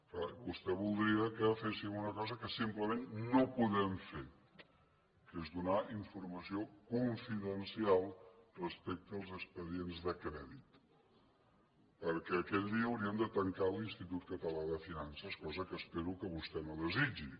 és clar vostè voldria que féssim una cosa que simplement no podem fer que és donar informació confidencial respecte als expedients de crèdit perquè aquell dia hauríem de tancar l’institut català de finances cosa que espero que vostè no desitgi